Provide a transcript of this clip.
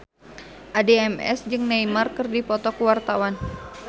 Addie MS jeung Neymar keur dipoto ku wartawan